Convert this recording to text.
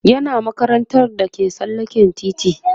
yana makarantar da ke tsallaken titi